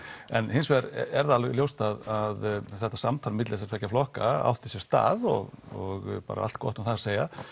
hins vegar er það ljóst að samtal milli þessara flokka átti sér stað og það bara allt gott um það að segja